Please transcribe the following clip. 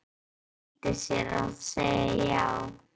Stjáni flýtti sér að segja já.